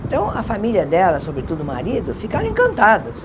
Então, a família dela, sobretudo o marido, ficaram encantados.